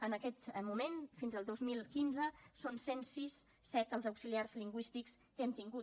en aquest moment fins al dos mil quinze són cent set els auxiliars lingüístics que hem tingut